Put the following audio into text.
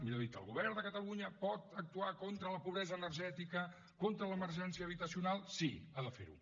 millor dit el govern de catalunya pot actuar contra la pobresa energètica contra l’emergència habitacional sí ha de fer ho